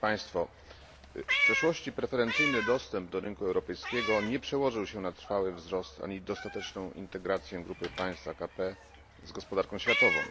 W przeszłości preferencyjny dostęp do rynku europejskiego nie przełożył się na trwały wzrost ani dostateczną integrację grupy państw AKP z gospodarką światową.